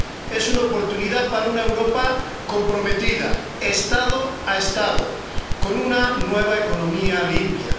Es una oportunidad para una Europa comprometida, Estado a Estado, con una nueva economía limpia.